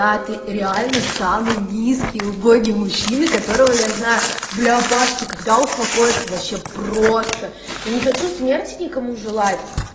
а ты реально самый низкий убогий мужчина которого я знаю бля паша ты когда успокоишься вообще просто я не хочу смерти никому желать